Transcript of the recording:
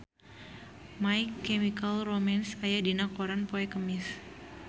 My Chemical Romance aya dina koran poe Kemis